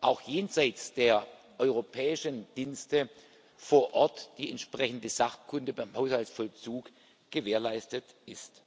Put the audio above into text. auch jenseits der europäischen Dienste vor Ort die entsprechende Sachkunde beim Haushaltsvollzug gewährleistet ist.